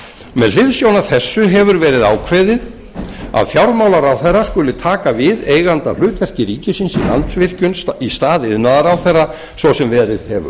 með hliðsjón af þessu hefur verið ákveðið að fjármálaráðherra skuli taka við eigandahlutverki ríkisins í landsvirkjun í stað iðnaðarráðherra svo sem verið hefur